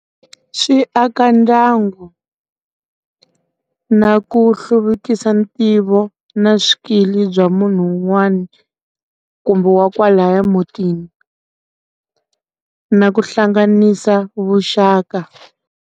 Swi aka ndyangu na ku hluvukisa ntivo na swikili bya munhu un'wana kumbe wa kwalaya mutini na ku hlanganisa vuxaka.